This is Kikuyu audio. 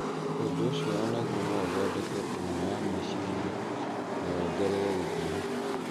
Ũndũ ũcio o naguo no ũthondeke ũgima wa meciria na wongerere gĩkeno.